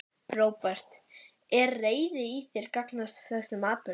Róbert: Er reiði í þér gagnvart þessum atburði?